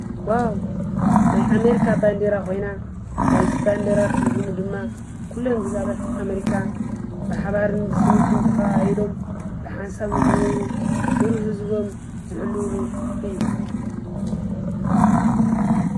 ዋው ናይ ኣሜሪካ ባንዴራ ኮይና ናይዚ ባንዴራ ትርጉሙ ድማ ኩለን ግዝኣታት ኣሜሪካ ብሓባርን ብስኒትን ተከኣኢሎም ብሓንሳብ ንክነብሩ ክብሪ ህዝቦም ዝሕልዉሉ እዩ፡፡